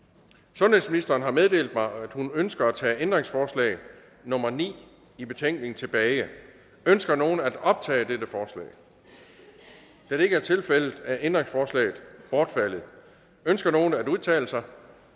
sundhedsministeren har meddelt mig at hun ønsker at tage ændringsforslag nummer ni i betænkning tilbage ønsker nogen at optage dette forslag da det ikke er tilfældet er ændringsforslaget bortfaldet ønsker nogen at udtale sig